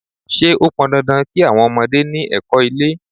Ṣé ó pọn dandan kí àwọn ọmọdé ni ẹ̀kọ́-ilé?